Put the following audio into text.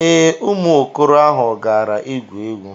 Ee, ụmụ okoro ahụ gara igwu egwu